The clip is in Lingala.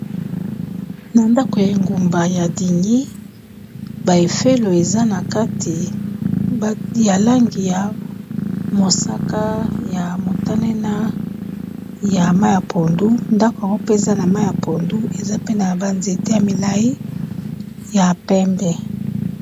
Na ndako ya engumba ya dingi ba efelo eza na kati ya langi ya mosaka, ya motane, na ya mayi ya pondu, ndako yango pe eza na mayi ya pondu, eza pe na ba nzete ya milayi ya pembe.